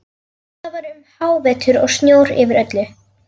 Það var um hávetur og snjór yfir öllu.